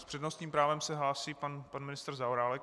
S přednostním právem se hlásí pan ministr Zaorálek.